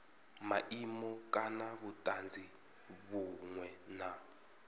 maimo kana vhutanzi vhunwe na